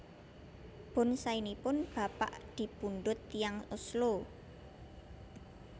Bonsainipun bapak dipundhut tiyang Oslo